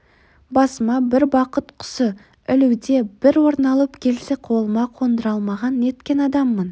басыма бір бақыт құсы ілуде бір оралып келсе қолыма қондыра алмаған неткен адаммын